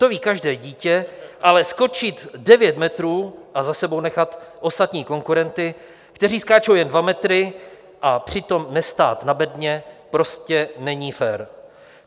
To ví každé dítě, ale skočit devět metrů a za sebou nechat ostatní konkurenty, kteří skáčou jen dva metry, a přitom nestát na bedně prostě není fér.